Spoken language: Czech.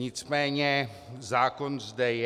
Nicméně zákon zde je.